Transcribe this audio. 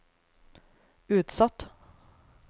utsatt